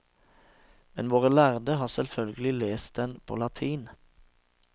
Men våre lærde har selvfølgelig lest den på latin.